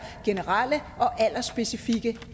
generelle og aldersspecifikke